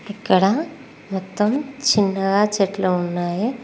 ఇక్కడ మొత్తం చిన్నగా చెట్లు ఉన్నాయి.